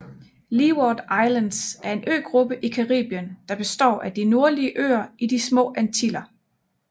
Leeward Islands er en øgruppe i Caribien der består af de nordlige øer i de Små Antiller